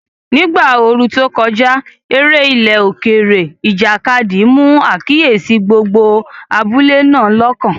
Ní ìgbà ooru tó kọjá, eré ilẹ̀ òkèèrè, ìjàkadì, mú àkíyèsí gbogbo abúlé náà lọ́kàn.